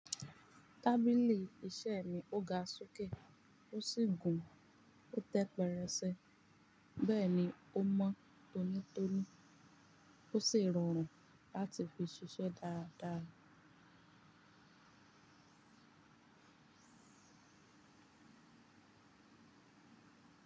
Tábìlì iṣẹ́ mi ó ga sókè, ó sì gùn ó tẹ pẹrẹse. Bẹ́ẹ̀ni, ó mọ́ tónítóní ó sì rọrùn láti fi ṣiṣẹ́ dáadáa.